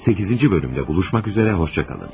8-ci hissədə görüşmək ümidi ilə, sağ olun.